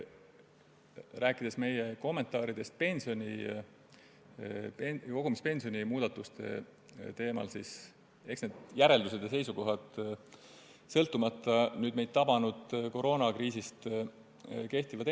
Rääkides meie kommentaaridest kogumispensioni muudatuste teemal, siis eks needsamad järeldused ja seisukohad kehtivad sõltumata meid tabanud koroonakriisist endiselt.